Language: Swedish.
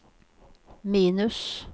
minus